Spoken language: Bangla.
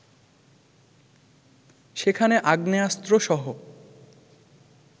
সেখানে আগ্নেয়াস্ত্রসহ